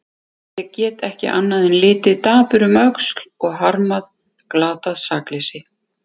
Ég get ekki annað en litið dapur um öxl og harmað glatað sakleysi.